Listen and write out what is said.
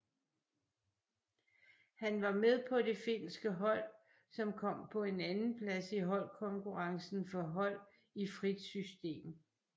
Han var med på det finske hold som kom på en andenplads i holdkonkurrencen for hold i frit system